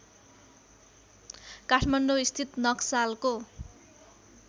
काठमाण्डौ स्थित नक्सालको